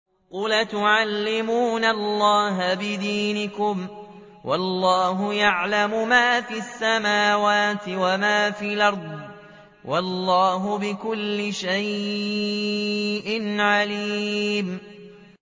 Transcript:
قُلْ أَتُعَلِّمُونَ اللَّهَ بِدِينِكُمْ وَاللَّهُ يَعْلَمُ مَا فِي السَّمَاوَاتِ وَمَا فِي الْأَرْضِ ۚ وَاللَّهُ بِكُلِّ شَيْءٍ عَلِيمٌ